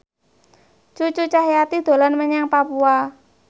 Cucu Cahyati dolan menyang Papua